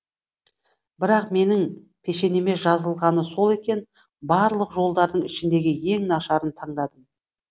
бірақ менің пешенеме жазылғаны сол екен барлық жолдардың ішіндегі ең нашарын таңдадым